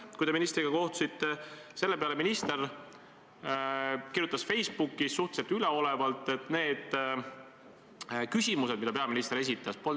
Me võime siin rääkida näiteks ühe erakonna esimehest, keda on loksutatud kohtus, ja lõpuks ei ole sealt mitte midagi tulnud, kuid nüüd loksutatakse edasi, närutades teda mingisuguste maksunõuetega.